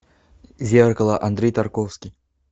зеркало андрей тарковский